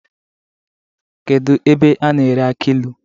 Kedu ebe a na-ere aki ilu?